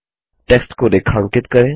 text को रेखांकित करें